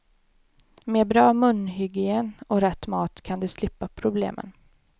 Med bra munhygien och rätt mat kan du slippa problemen.